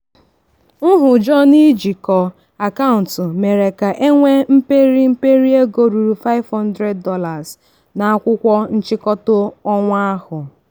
ndị nne na nna ọhụụ ji nlezianya họrọ ngwaahịa ụmụaka ndị na-akwagidebe gburugburu iji wedata ego ego ha ga-emefu n'ọdịnihu.